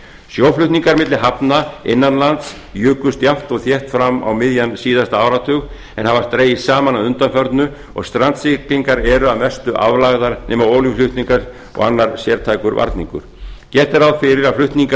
sjóflutningar milli hafna innan lands jukust jafnt og þétt fram á miðjan síðasta áratug en hafa dregist saman að undanförnu og strandsiglingar eru að mestu aflagðar nema olíuflutningar og annar sértækur varningur gert er ráð fyrir að flutningar